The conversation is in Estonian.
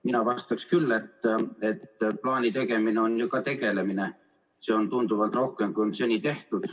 Mina vastaksin küll, et plaani tegemine on ju ka tegelemine, seda on tunduvalt rohkem, kui seni on tehtud.